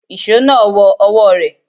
Ìṣó náà wọ ọwọ́ rẹ̀.